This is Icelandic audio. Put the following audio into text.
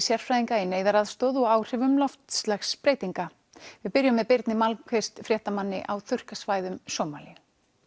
sérfræðinga í neyðaraðstoð og áhrifum loftslagsbreytinga við byrjum með Birni fréttamanni á þurrkasvæðum Sómalíu